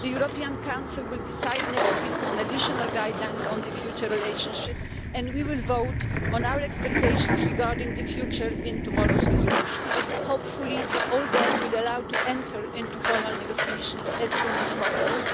The European Council will decide next week on additional guidelines on the future relationship and we will vote on our expectations regarding the future in tomorrow's resolution. Hopefully all that will allow us to enter into formal negotiations as soon as possible.